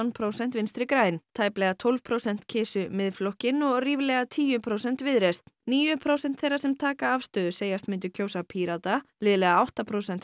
prósent Vinstri græn tæplega tólf prósent kysu Miðflokkinn og ríflega tíu prósent Viðreisn níu prósent þeirra sem taka afstöðu segjast myndu kjósa Pírata liðlega átta prósent